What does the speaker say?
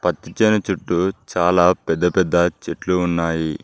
పచ్చని చెట్టు చాలా పెద్ద పెద్ద చెట్లు ఉన్నాయి.